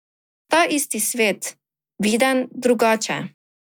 Ta isti svet, viden drugače.